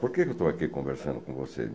Por que eu estou aqui conversando com vocês?